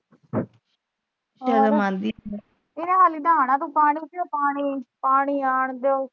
ਇਹਨੇ ਹਾਲੇ ਨਹਾਣਾ, ਤੂੰ ਪਾਣੀ ਪਾਣੀ, ਪਾਣੀ ਆਣ ਦੋ।